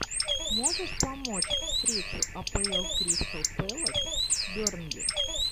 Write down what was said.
можешь помочь встречу апл кристал пэлас бернли